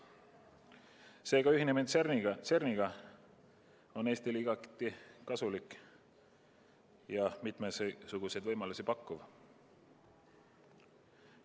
Seega on CERN-iga ühinemine Eestile igati kasulik ja mitmesuguseid võimalusi pakkuv.